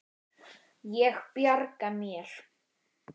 Ég bjarga mér.